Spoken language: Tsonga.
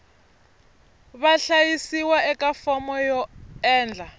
vahlayisiwa eka fomo yo endla